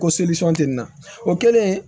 Ko tɛ nin na o kɛlen